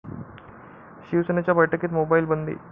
शिवसेनेच्या बैठकीत मोबाईल बंदी